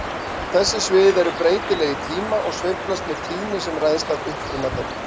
Þessi svið eru breytileg í tíma og sveiflast með tíðni sem ræðst af uppruna þeirra.